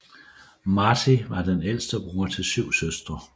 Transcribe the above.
Martí var den ældste bror til syv søstre